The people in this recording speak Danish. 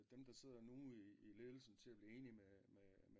Dem der sidder nu i ledelsen til at blive enig med med øh